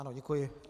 Ano děkuji.